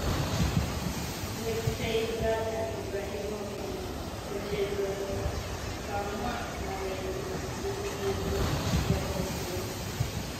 Weksei Zlatan Ibrahimovic kochezoni, kamwa ngalechu pigyik chebo kwen.